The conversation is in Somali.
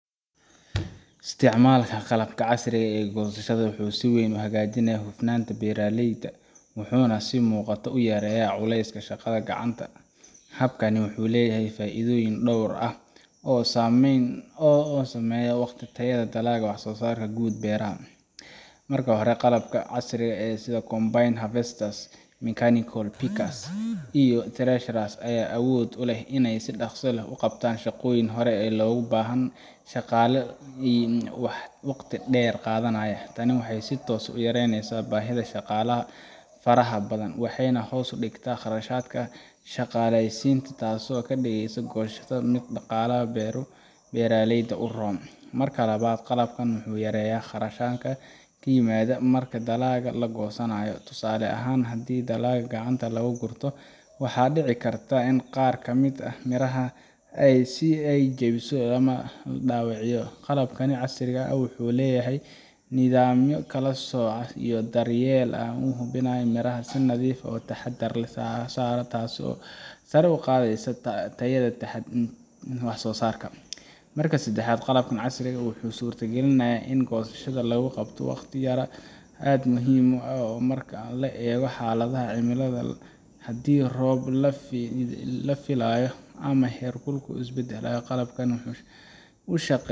Isticmaalka qalabka casriga ah ee goosashada wuxuu si weyn u hagaajiyaa hufnaanta beeraleyda wuxuuna si muuqata u yareeyaa culayska shaqada gacanta. Habkani wuxuu leeyahay faa’iidooyin dhowr ah oo saameeya waqti, tayada dalagga, iyo wax-soo-saarka guud ee beerta. Marka hore, qalabka casriga ah sida combine harvesters, mechanical pickers, iyo threshers ayaa awood u leh inay si dhakhso ah u qabtaan shaqooyinkii hore loogu baahnaa shaqaale badan oo wakhti dheer qaadanayay. Tani waxay si toos ah u yareysaa baahida shaqaalaha faraha badan, waxayna hoos u dhigtaa kharashaadka shaqaalaysiinta, taasoo ka dhigaysa goosashada mid dhaqaalaha beeraleyda u roon. Marka labaad, qalabkan wuxuu yareeyaa khasaaraha yimaada marka dalagga la goosanayo. Tusaale ahaan, haddii dalagga gacanta lagu gurto, waxaa dhici karta in qaar ka mid ah miraha la jabiyo ama la dayaco. Qalabka casriga ah wuxuu leeyahay nidaamyo kala sooc iyo daryeel ah oo hubiya in miraha si nadiif ah oo taxadar leh loo soo saaro, taasoo sare u qaadaysa tayada wax-soo-saarka. Marka saddexaad, qalabka casriga ah wuxuu suurtageliyaa in goosashada lagu qabto wakhti yar oo aad muhiim ugu ah marka la eego xaaladaha cimilada. Haddii roob la filayo ama heerkulku is beddelayo, qalabkani wuxuu u